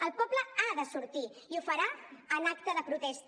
el poble ha de sortir i ho farà en acte de protesta